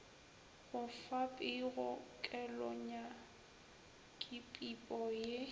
go fa pego kelonyakipipo ye